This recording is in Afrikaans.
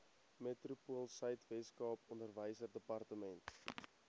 metropoolsuid weskaap onderwysdepartement